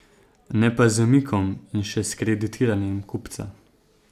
Ne pa z zamikom in še s kreditiranjem kupca.